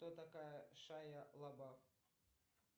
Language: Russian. кто такая шайя лабаф